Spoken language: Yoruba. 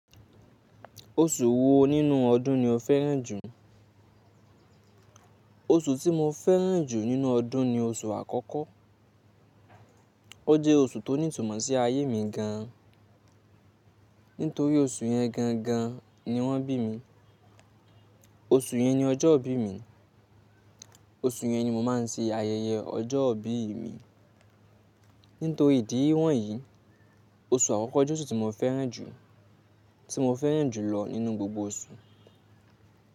Oṣù wo nínú ọdún ni o fẹ́ràn jù? Oṣù tí mo fẹ́ràn jù nínú ọdún ni oṣù àkọ́kọ́. O jẹ́ oṣù tó ní ìtùmọ̀ sí ayé mi gan an. Nítorí oṣù yen gangan ni wọ́n bí mi. Oṣù yen ni ọjọ́ ibí mi. Oṣù yen ni mo máa n ṣe ayẹyẹ ọjọ́ ibí mi. Nítorí ìdí wọ̀nyí, oṣù àkọ́kọ́ jẹ́ oṣù tí mo fẹ́ràn jù, tí mo fẹ́ràn jù lọ nínú gbogbo oṣù.